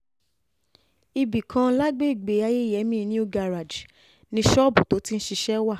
ibì kan lágbègbè ayẹyẹmí new garrage ni ṣọ́ọ̀bù tó ti ń ṣiṣẹ́ wà